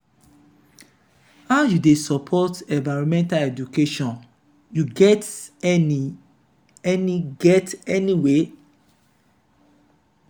how you dey support environmental education you get any get any way?